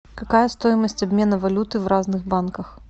какая стоимость обмена валюты в разных банках